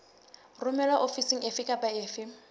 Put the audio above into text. romelwa ofising efe kapa efe